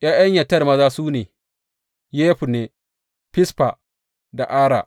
’Ya’yan Yeter maza su ne, Yefunne, Fisfa da Ara.